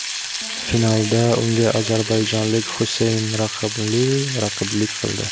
Finalda unga ozarbayjonlik Xuseyn Raximli raqiblik qildi.